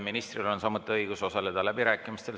Ministril on samuti õigus osaleda läbirääkimistel.